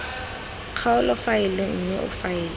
kgaolo faele mme o faele